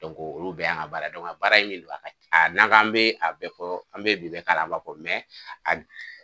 olu bɛɛ y'an baara ye baara min do n'an k'an bɛ a bɛɛ fɔ an bɛ bi bɛɛ k'a la an b'a fɔ